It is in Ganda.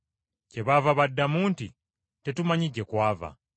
Kyebaava baddamu nti, “Tetumanyi gye kwava.”